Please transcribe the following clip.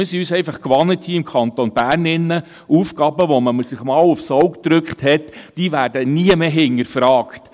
– Im Kanton Bern sind wir es uns gewöhnt, Aufgaben, die man sich mal aufs Auge gedrückt hat, nie wieder zu hinterfragen.